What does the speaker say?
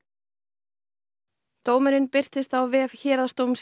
dómurinn birtist á vef Héraðsdóms Reykjaness í dag